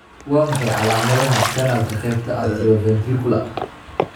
Waa maxay calaamadaha iyo calaamadaha kanaalka qaybta atrioventricular?